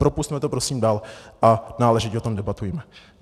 Propusťme to prosím dál a náležitě o tom debatujme.